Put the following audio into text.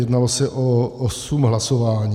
Jednalo se o osm hlasování.